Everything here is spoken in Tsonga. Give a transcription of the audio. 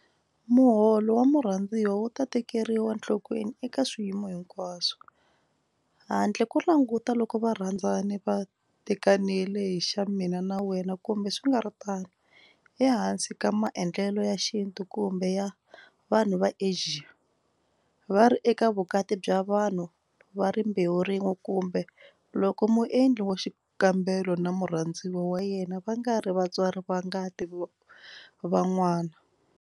Muholo wa murhandziwa wu ta tekeriwa nhlokweni eka swiyimo hinkwaswo - handle ko languta loko varhandzani va tekanile hi xa mina xa wena kumbe swi nga ri tano, ehansi ka maendlelo ya xintu kumbe ya vanhu va Asia, va ri eka vukati bya vanhu va rimbewu rin'we kumbe loko muendli wa xikambelo na murhandziwa wa yena va nga ri vatswari va ngati va n'wana.